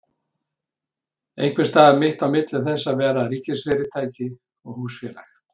Einhvers staðar mitt á milli þess að vera ríkisfyrirtæki og hlutafélag?